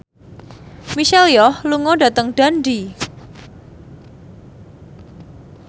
Michelle Yeoh lunga dhateng Dundee